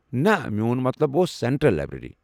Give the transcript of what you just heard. نہ میون مطلب اوس سٮ۪نٹرل لایبریٚری۔